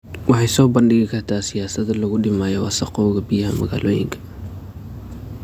Waxay soo bandhigi kartaa siyaasado lagu dhimayo wasakhowga biyaha magaalooyinka.